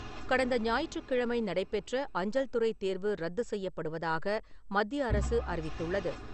கடந்த ஞாயிற்றுக்கிழமை நடைபெற்ற அஞ்சல்துறை தேர்வு ரத்துசெய்யப்படுவதாக மத்திய அரசு அறிவித்துள்ளது.